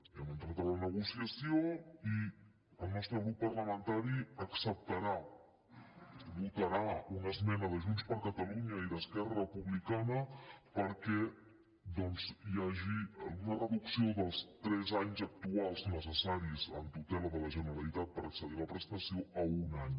hem entrat a la negociació i el nostre grup parlamentari acceptarà votarà una esmena de junts per catalunya i d’esquerra republicana perquè doncs hi hagi una reducció dels tres anys actuals necessaris en tutela de la generalitat per accedir a la prestació a un any